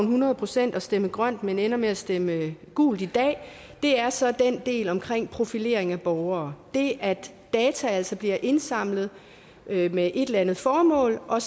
hundrede procent og stemme grønt men ender med at stemme gult i dag er så den del om profilering af borgere det at data altså bliver indsamlet med med et eller andet formål og